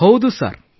ಹೌದು ಸರ್